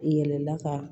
Yɛlɛla ka